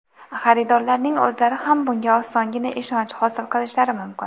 Xaridorlarning o‘zlari ham bunga osongina ishonch hosil qilishlari mumkin.